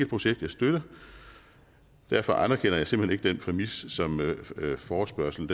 projekt jeg støtter derfor anerkender jeg simpelt hen ikke den præmis som forespørgslen